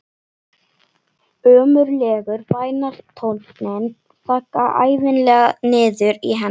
Ömurlegur bænartónninn þaggaði ævinlega niður í henni.